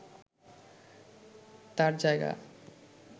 তাঁর জায়গা